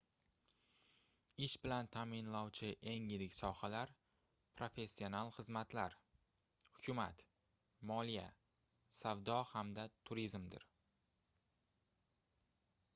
ish bilan taʼminlovchi eng yirik sohalar professional xizmatlar hukumat moliya savdo hamda turizmdir